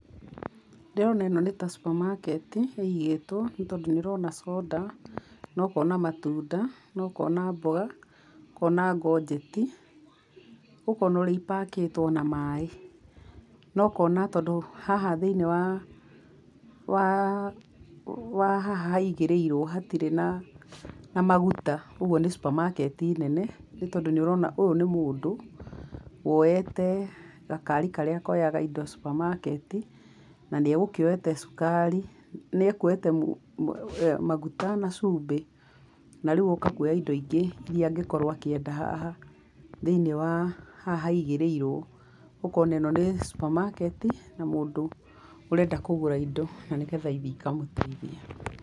Ndĩrona ĩno nĩ ta supermarket i ĩigĩtwo nĩ tondũ nĩ ũrona soda, na ũkona matunda, na ũkona mboga, ũkona ngongeti, ũkona ũrĩa ĩ pack ĩtwo na maaĩ. Na ũkona tondũ haha thĩinĩ wa wa wa haha haigĩrĩirwo, hatirĩ na na maguta, ũguo nĩ supermarket nene. Nĩ tondũ nĩ ũrona ũyũ nĩ mũndũ woyete gakari karĩa koyaga indo supamaketi na nĩegũkĩoyete cukari, nĩekũoyete maguta na cumbĩ na rĩu oka kũoya indo ingĩ iria angĩkorwo akĩenda haha thĩinĩ wa haha haigĩrĩirwo. Ũkona ĩno nĩ supermarket i na mũndũ ũrenda kũgũra indo na nĩgetha ithi ikamũteithie.